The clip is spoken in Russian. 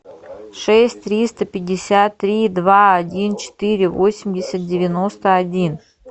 шесть триста пятьдесят три два один четыре восемьдесят девяносто один